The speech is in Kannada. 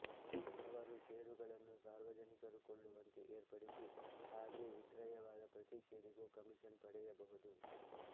ಅವರು ಷೇರುಗಳನ್ನು ಸಾರ್ವಜನಿಕರು ಕೊಳ್ಳುವಂತೆ ಏರ್ಪಡಿಸಿ ಹಾಗೆ ವಿಕ್ರಯವಾದ ಪ್ರತಿ ಷೇರಿಗೂ ಕಮೀಷನ್ ಪಡೆಯಬಹುದು